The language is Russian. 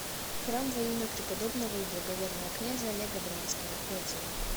храм во имя преподобного и благоверного князя олега брянского отзывы